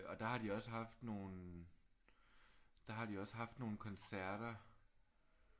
Og der har de også haft nogle der har de også haft nogle koncerter